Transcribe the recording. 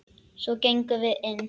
Svo gengum við inn.